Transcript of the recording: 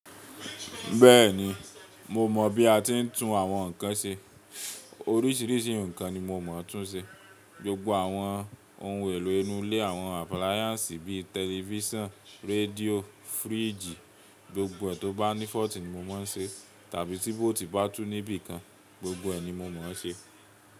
Bẹ́ẹ̀ni, mo mọ̀ bí a ti ń tún àwọn nǹkan ṣe. Oríṣiríṣi nǹkan ni mo mọ̀ túń ṣe. Gbogbo àwọn ohun èlò inú ilé, àwọn appliances bíi tẹlifíṣàn, rédíò, fíríjì, gbogbo ẹ̀ tó bá ní fault ni mo máa ń ṣe. Tàbí tí bolt bá tú níbi kan, gbogbo ẹ̀ ni mo mọ̀ ṣe.